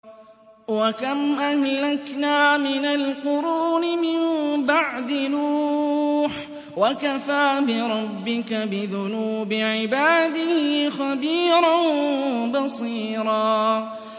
وَكَمْ أَهْلَكْنَا مِنَ الْقُرُونِ مِن بَعْدِ نُوحٍ ۗ وَكَفَىٰ بِرَبِّكَ بِذُنُوبِ عِبَادِهِ خَبِيرًا بَصِيرًا